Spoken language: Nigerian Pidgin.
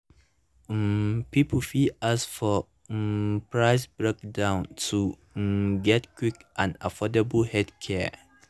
um people fit ask for um price breakdown to um get quick and affordable healthcare.